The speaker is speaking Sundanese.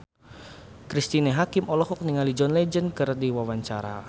Cristine Hakim olohok ningali John Legend keur diwawancara